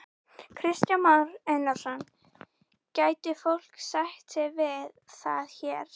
Hrund Þórsdóttir: Hefur þessu verið ábótavant hér á landi líka?